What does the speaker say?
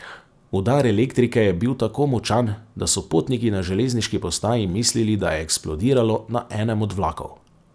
Udar elektrike je bil tako močan, da so potniki na železniški postaji mislili, da je eksplodiralo na enem od vlakov.